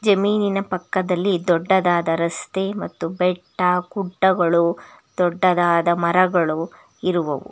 ಜಮೀನಿನ ಪಕ್ಕದಲ್ಲಿ ದೊಡ್ಡದಾದ ರಸ್ತೆ ಮತ್ತು ಬೆಟ್ಟಗುಡ್ಡಗಳು ದೊಡ್ಡದಾದ ಮರಗಳು ಇರುವವು.